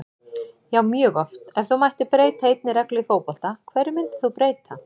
Já mjög oft Ef þú mættir breyta einni reglu í fótbolta, hverju myndir þú breyta?